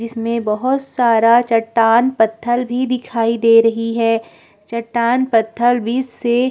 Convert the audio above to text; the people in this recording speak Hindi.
इसमें बोहोत सारा चट्टान पत्थल भी दिखाई दे रही हैं चट्टान पत्थल बीच से --